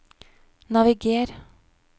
naviger